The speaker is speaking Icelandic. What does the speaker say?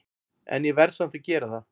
En ég verð samt að gera það.